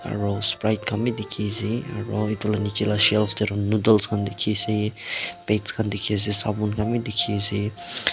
aro sprit khan bi dikhi ase aro edu laka nichae tae shelf tae noodles khan dikhi ase pads khan dikhiase sabun khan bi dikhi ase.